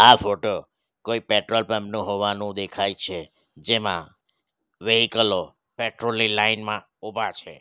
આ ફોટો કોઈ petrol pump નો હોવાનું દેખાય છે જેમાં વહીકલો પેટ્રોલ ની લાઈન માં ઊભા છે.